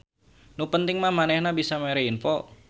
Nu penting mah manehna bisa mere info.